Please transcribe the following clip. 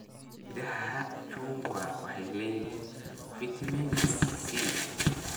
Midhaha chungwa waxay leeyihiin fiitamiinka C.